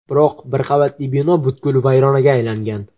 biroq bir qavatli bino butkul vayronaga aylangan.